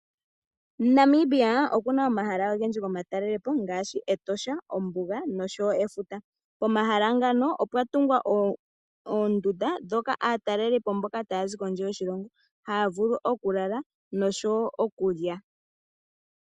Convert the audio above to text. Namibia okuna omahala ogendji gomatalelepo ngaashi, Etosha, ombuga nosho wo efuta. Omahala ngano opwatungwa oondunda dhoka aatalelipo mboka taya zi kondje yoshilongo haya vulu okulala nosho wo okulya.